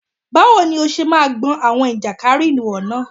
Báwo ni ó ṣe máa gbọn àwọn ìjàkárìwọ̀ náà?